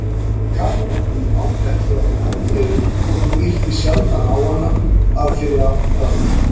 Kamilla kunni ágætlega við Andreu þótt hún yrti sjaldan á hana að fyrra bragði.